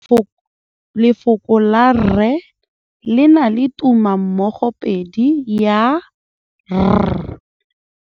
Lefoko la rre le na le tumammogôpedi ya, r.